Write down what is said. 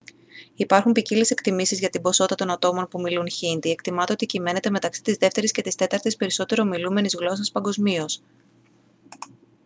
υπάρχουν ποικίλες εκτιμήσεις για την ποσότητα των ατόμων που μιλούν χίντι εκτιμάται ότι κυμαίνεται μεταξύ της δεύτερης και της τέταρτης περισσότερο ομιλούμενης γλώσσας παγκοσμίως